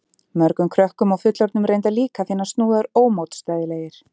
Mörgum krökkum og fullorðnum reyndar líka finnast snúðar ómótstæðilegir.